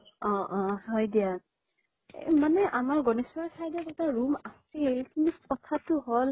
অ অ হয় দিয়া । মানে আমাৰ গনেশ্গুৰি side এ room এটা আছিল, কিন্তু কথাতো হল